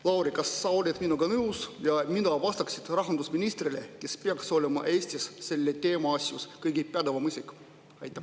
Lauri, kas sa oled minuga nõus ja mida vastaksid sa rahandusministrile, kes peaks olema Eestis selle teema asjus kõige pädevam isik?